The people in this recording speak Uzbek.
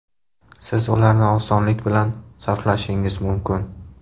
Siz ularni osonlik bilan sarflashingiz mumkin!